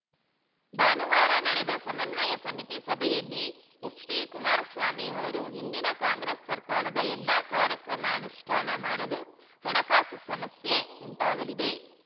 ಭಾನುವಾರ ನಡೆದ ಸಮನ್ವಯ ಸಮಿತಿ ಸಭೆಯಲ್ಲಿ ಎಚ್‌ಡಿಕುಮಾರಸ್ವಾಮಿ ಅವರು ಹಿಂದಿನ ಕಾಂಗ್ರೆಸ್‌ ಸರ್ಕಾರದ ಎಲ್ಲ ಕಾರ್ಯಕ್ರಮ ಅನುಷ್ಠಾನ ಮಾಡಲು ಹಣಕಾಸು ಸಮಸ್ಯೆ ಉಂಟಾಗಲಿದೆ